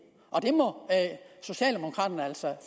det må socialdemokraterne altså